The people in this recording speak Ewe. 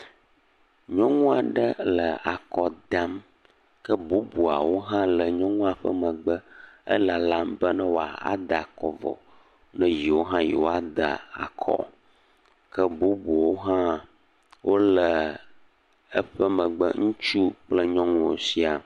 Nyɔnu aɖe le akɔ dam. Ke bubuawo hã le nyɔnua ƒe megbe. Elalam be ne wòada akɔ vɔ ne yewo hã yewoada akɔ. Ke bubuwo hã wole eƒe megbe. Ŋutsu kple nyɔnuwo siaa